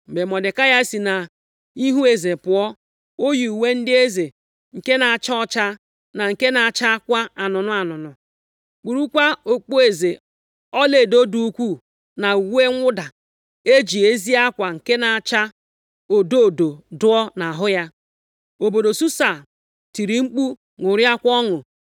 Mgbe Mọdekai si nʼihu eze pụọ, o yi uwe ndị eze nke na-acha ọcha, na nke na-achakwa anụnụ anụnụ, kpurukwa okpueze ọlaedo dị ukwuu, na uwe mwụda e ji ezi akwa nke na-acha odo odo dụọ nʼahụ ya. Obodo Susa tiri mkpu ṅụrịakwa ọṅụ.